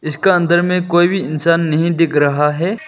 इसका अंदर में कोई भी इंसान नहीं दिख रहा है।